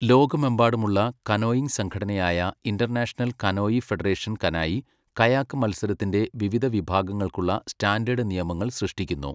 ലോകമെമ്പാടുമുള്ള കനോയിംഗ് സംഘടനയായ international canoe federation, canoe, kayak മത്സരത്തിൻ്റെ വിവിധ വിഭാഗങ്ങൾക്കുള്ള സ്റ്റാൻഡേർഡ് നിയമങ്ങൾ സൃഷ്ടിക്കുന്നു.